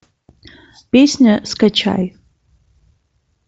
песня скачай